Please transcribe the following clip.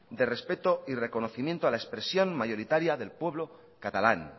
de respeto y de reconocimiento a la expresión mayoritaria del pueblo catalán